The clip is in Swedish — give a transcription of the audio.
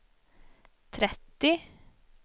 trettio